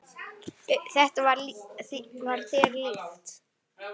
Þetta var þér líkt.